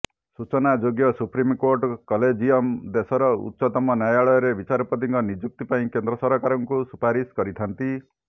ସୂଚନାଯୋଗ୍ୟ supreme court collegium ଦେଶର ଉଚ୍ଚତମ ନ୍ୟାୟାଳୟରେ ବିଚାରପତିଙ୍କ ନିଯୁକ୍ତିି ପାଇଁ କେନ୍ଦ୍ର ସରକାରଙ୍କୁ ସୁପାରିଶ କରିଥାନ୍ତି